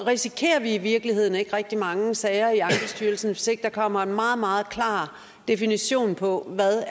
risikerer vi i virkeligheden ikke rigtig mange sager i ankestyrelsen hvis ikke der kommer en meget meget klar definition på hvad